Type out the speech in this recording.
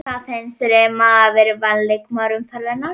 Hvað finnst þér um að hafa verið valin leikmaður umferðarinnar?